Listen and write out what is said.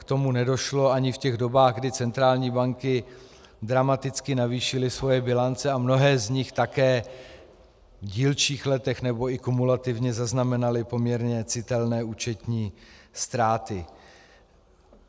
K tomu nedošlo ani v těch dobách, kdy centrální banky dramaticky navýšily svoje bilance, a mnohé z nich také v dílčích letech, nebo i kumulativně zaznamenaly poměrně citelné účetní ztráty.